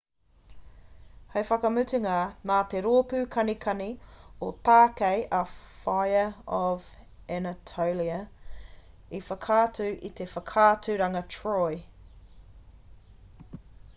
hei whakamutunga nā te rōpū kanikani o tākei a fire of anatolia i whakaatu i te whakaaturanga troy